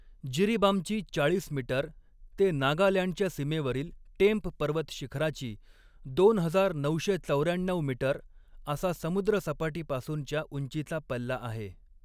जिरीबामची चाळीस मीटर ते नागालँडच्या सीमेवरील टेम्प पर्वत शिखराची दोन हजार नऊशे चौऱ्याण्णऊ मीटर असा समुद्रसपाटीपासूनच्या उंचीचा पल्ला आहे.